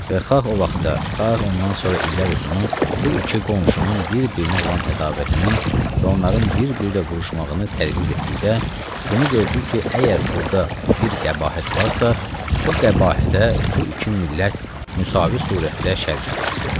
Və xalq o vaxtlar, xalq ondan sonra illər uzunu bu iki qonşunun bir-birinə olan ədavətini və onların bir-biri ilə vuruşmağını tədqiq etdikdə bunu gördük ki, əgər burda bir qəbahət varsa, o qəbahətə bu iki millət müsavi surətdə şərikdir.